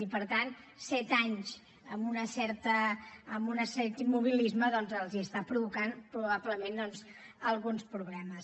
i per tant set anys amb un cert immobilisme doncs els està provocant probablement alguns problemes